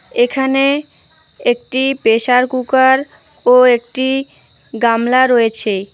এখানে একটি pressure cooker ও একটি গামলা রয়েছে।